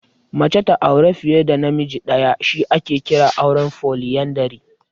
Mace ta auri fiye da namiji ɗaya shi ake kira auren Foliyandari.